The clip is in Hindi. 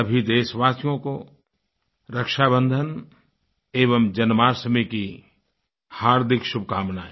सभी देशवासियों को रक्षाबन्धन एवं जन्माष्टमी की हार्दिक शुभकामनाएँ